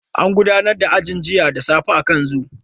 An gudanar da ajin jiya da safe akan zoom.